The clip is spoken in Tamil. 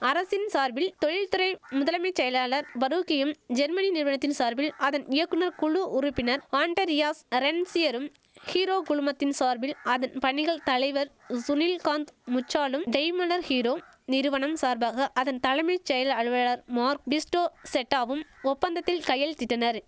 அரசின் சார்பில் தொழில் துறை முதலமைச் செயலாளர் பரூக்கியும் ஜெர்மனி நிறுவனத்தின் சார்பில் அதன் இயக்குனர் குழு உறுப்பினர் ஆன்டரியாஸ் அரென்சியரும் ஹீரோ குழுமத்தின் சார்பில் அதன் பணிகள் தலைவர் சுனில்காந்த் முஞ்சாலும் டெய்மலர் ஹீரோ நிறுவனம் சார்பாக அதன் தலைமை செயல அலுவலர் மார்க் பிஸ்டோ செட்டாவும் ஒப்பந்தத்தில் கையெழுத்திட்டனரி